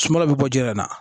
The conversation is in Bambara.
Sumaw bɛ bɔ ji la